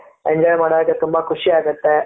enjoy ಮಾಡಕ್ಕೆ ತುಂಬಾ ಖುಷಿ ಆಗುತ್ತೆ,